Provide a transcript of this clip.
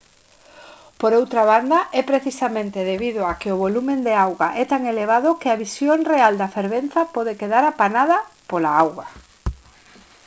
por outra banda é precisamente debido a que o volume de auga é tan elevado que a visión real da fervenza pode quedar apanada pola auga!